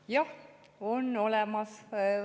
Jah, need on olemas.